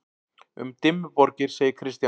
Um Dimmuborgir segir Kristján: